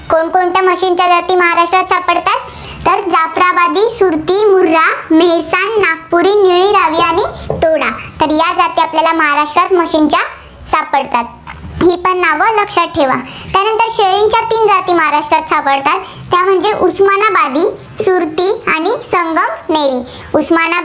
तर या जाती आपल्याला महाराष्ट्रात म्हशींच्या सापडतात. नावं लक्षात ठेवा. त्यानंतर शेळींच्या तीन जाती महाराष्ट्रात सापडतात. त्या म्हणजे उस्मानाबादी, सुरती आणि संगमनेरी. उस्मानाबादी.